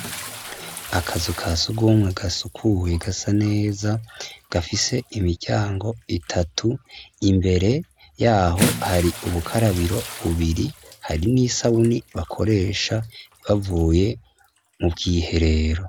Akazu ka sugumwe gasukuye gasa neza gafise imiryango itatu, imbere yaho hari ubukarabiro bubiri, hari n'isabuni bakoresha bavuye mu bwiherero.